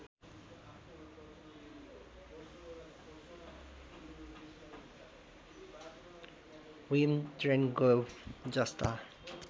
Vim ट्रेनगोभ जस्ता